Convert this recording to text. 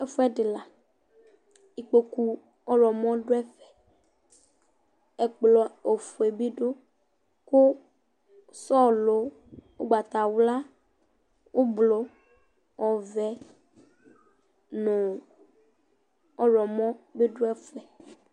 Ɛfʋɛdɩ la Ikpoku ɔɣlɔmɔ dʋ ɛfɛ, ɛkplɔ ofue bɩ dʋ kʋ sɔlɔ ʋgbatawla, ʋblʋ, ɔvɛ nʋ ɔɣlɔmɔ bɩ dʋ ɛfʋ yɛ